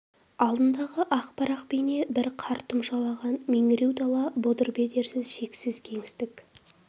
алдындағы ақ парақ бейне бір қар тұмшалаған меңіреу дала бұдыр-бедерсіз шексіз кеңістік